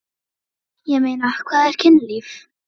Ég meina, hvað er kynlíf?